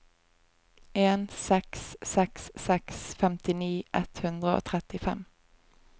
en seks seks seks femtini ett hundre og trettifem